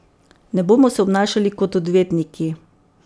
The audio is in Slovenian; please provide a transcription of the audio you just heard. Ne bomo se obnašali kot odvetniki.